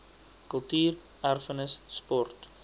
kultuur erfenis sport